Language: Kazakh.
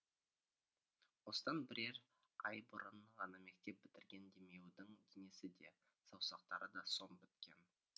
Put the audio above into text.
осыдан бірер ай бұрын ғана мектеп бітірген демеудің денесі де саусақтары да сом біткен